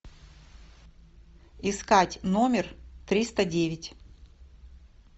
искать номер триста девять